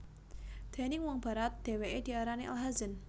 Déning wong Barat dheweke diarani Al Hazen